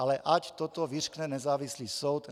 Ale ať toto vyřkne nezávislý soud.